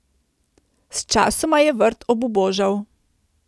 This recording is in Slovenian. Sčasoma je vrt obubožal.